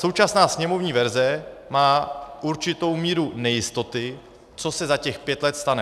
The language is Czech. Současná sněmovní verze má určitou míru nejistoty, co se za těch pět let stane.